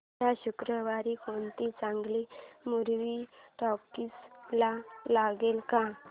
या शुक्रवारी कोणती चांगली मूवी टॉकीझ ला लागेल का